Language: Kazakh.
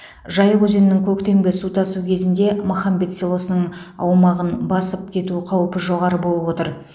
жайық өзенінің көктемгі су тасу кезінде махамбет селосының аумағын басып кету қаупі жоғары болып отыр